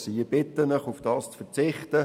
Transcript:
Ich bitte Sie, darauf zu verzichten.